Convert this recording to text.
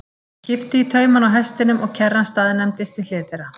Hann kippti í taumana á hestinum og kerran staðnæmdist við hlið þeirra.